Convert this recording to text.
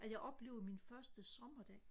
at jeg oplevede min første sommerdag